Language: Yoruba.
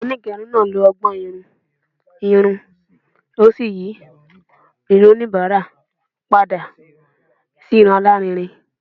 Onigerun naa lo ọgbọn-irun irun o si yi irun onibara pada si irun alarinrin